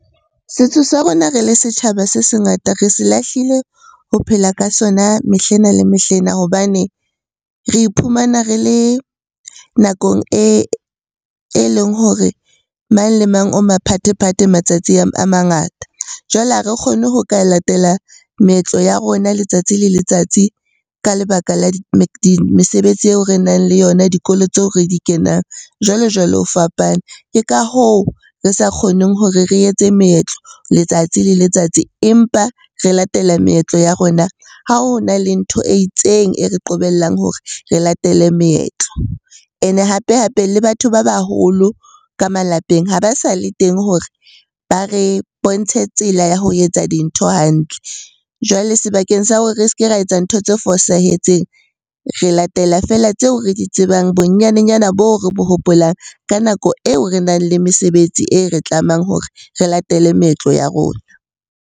Setso sa rona re le setjhaba se se ngata re se lahlile ho phela ka sona mehlena le mehlena hobane re iphumana re le nakong e leng hore mang le mang o maphathephathe matsatsi a mangata. Jwale ha re kgone ho ka latela meetlo ya rona letsatsi le letsatsi ka lebaka la mesebetsi eo re nang le yona, dikolo tseo re di kenang, jwalo-jwalo ho fapana. Ke ka hoo re sa kgoneng hore re etse meetlo letsatsi le letsatsi, empa re latela meetlo ya rona ha ho na le ntho e itseng e re qobellang hore re latele meetlo. Ene hape-hape le batho ba baholo ka malapeng ha ba sa le teng hore ba re bontshe tsela ya ho etsa dintho hantle. Jwale sebakeng sa hore re se ke ra etsa ntho tse fosahetseng, re latela feela tseo re di tsebang bonyanenyana boo re bo hopolang, ka nako eo re nang le mesebetsi e re tlamehang hore re latele meetlo ya rona.